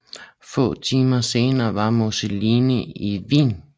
Få timer senere var Mussolini i Wien